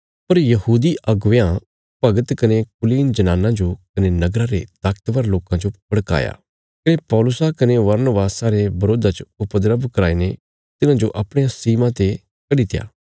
पर यहूदी अगुवेयां भगत कने कुलीन जनानां जो कने नगरा रे ताकतवर लोकां जो भड़काया कने पौलुसा कने बरनबासा रे बरोधा च उपद्रव कराई ने तिन्हांजो अपणिया सीमा ते कड्डित्या